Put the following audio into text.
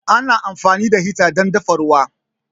Ana amfani da hita dan dafa ruwa